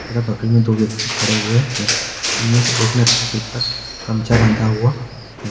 तथा बगल में दो व्यक्ति खड़े हुए हैं इनमें से एक ने अपने सिर पर गमछा बांधा हुआ है।